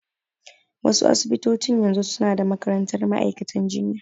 Wa su asibitocin yanzu su na da makarantar ma'aikantan jinya